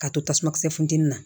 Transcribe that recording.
K'a to tasuma kisɛ funtɛni na